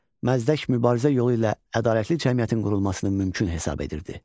Məzdək mübarizə yolu ilə ədalətli cəmiyyətin qurulmasını mümkün hesab edirdi.